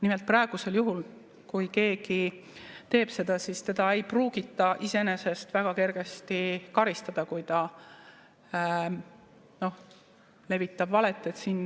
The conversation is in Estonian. Nimelt, kui praegusel juhul keegi teeb seda, siis teda ei pruugita iseenesest väga kergesti karistada, kui ta levitab valet.